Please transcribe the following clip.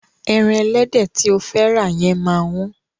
Ẹran ẹlẹ́dẹ̀ tí o fẹ́ rà yẹn máa wọ́n.